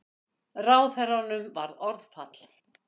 Ráðherranum varð orðfall.